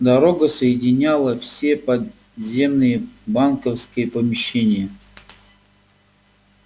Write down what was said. дорога соединяла все подземные банковские помещения